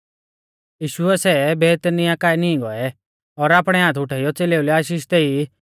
यीशुऐ सै बेतनियाह काऐ नीं गौऐ और आपणै हाथ उठाइयौ च़ेलेऊ लै आशीष देई